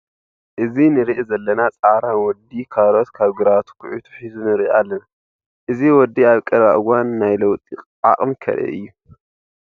እዚ ንሪኢ ዘለና ፃዕራም ወዲ ካሮት ካብ ግራቱ ኩዒቱ ሕዙ ንርኢ ኣለና። እዚ ወዲ ኣብ ቀረባ እዋን ናይ ለውጢ ዓቅሚ ከርኢ እዩ።